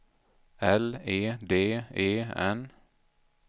L E D E N